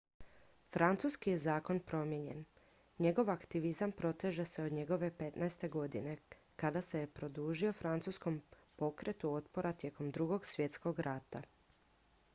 francuski je zakon promijenjen njegov aktivizam proteže se od njegove 15. godine kada se je pridružio francuskom pokretu otpora tijekom ii svjetskog rata